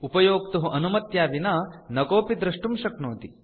उपयोक्तुः अनुमत्या विना न कोऽपि दृष्टुं शक्नोति